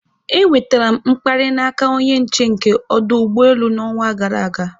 E nwetara m mkparị n'aka onye nche nke ọdụ ụgbọelu n'ọnwa gara aga